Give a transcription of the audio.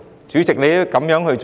主席，你這樣做......